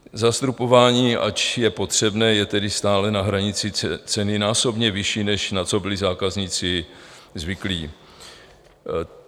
Zastropování, ač je potřebné, je tedy stále na hranici ceny násobně vyšší, než na co byli zákazníci zvyklí.